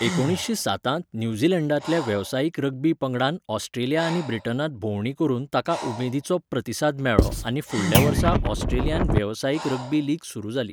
एकुणीसशें सातांत न्यूझीलंडांतल्या वेवसायीक रग्बी पंगडान ऑस्ट्रेलिया आनी ब्रिटनांत भोंवडी करून ताका उमेदीचो प्रतिसाद मेळ्ळो आनी फुडल्या वर्सा ऑस्ट्रेलियांत वेवसायीक रग्बी लीग सुरू जाली.